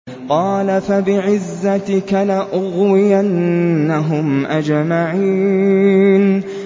قَالَ فَبِعِزَّتِكَ لَأُغْوِيَنَّهُمْ أَجْمَعِينَ